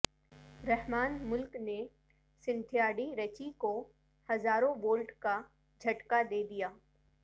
رحمان ملک نے Cynthia D Ritchie کو ہزاروں وولٹ کا جھٹکا دیدیا